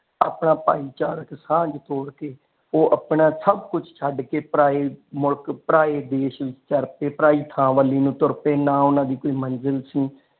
ਆਪਣਾ ਭਾਈਚਾਰਾ ਤੇ ਸਾਂਜ ਤੋੜ ਕੇ ਉਹ ਆਪਣਾ ਸੱਭ ਕੁਝ ਛਡ ਕੇ ਪਰਾਏ ਮੁਲਕ ਪਰਾਏ ਦੇਸ਼ ਵਿਚ ਤੁਰ ਪਾਏ ਪਰਾਈ ਥਾਂ ਵਾਲੀ ਨੂੰ ਤੁਰ ਪਏ ਨਾ ਓਹਨਾ ਦੀ ਕੋਈ ਮੰਜ਼ਿਲ ਸੀ।